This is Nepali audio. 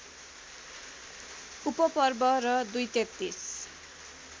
उपपर्व र २३३